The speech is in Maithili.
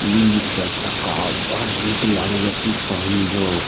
इ चार चक्का बड़ निक लागए ये की पहुुन यो।